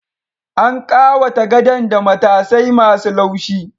An ƙawata gadon da matasai ma su laushi